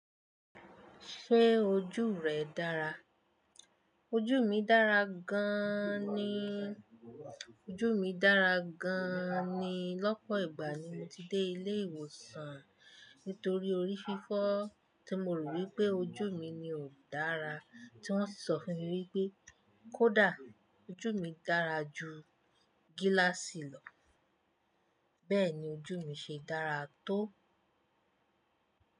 Ṣé ojú rẹ dára? Ojú mi dára gan ni. Ojú mi dára gan ni. Lọ́pọ̀ ìgbà ni mo ti dé ilé ìwòsàn nítorí orí fífọ́ tí mo rò wí pé ojú mi ni ò dára, tí wọ́n sì sọ fún mi wí pé kó dà. Ojú mi dára ju gíláàsì lọ. Bẹ́ẹ̀ ni ojú mi ṣe dára tó.